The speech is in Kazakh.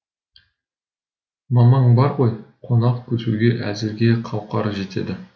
мамаң бар ғой қонақ күтуге әзірге қауқары жетеді